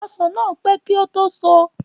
Ọsàn náà pẹ́ kí ó tó so